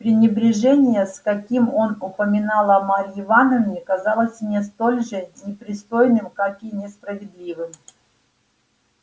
пренебрежение с каким он упоминал о марье ивановне казалось мне столь же непристойным как и несправедливым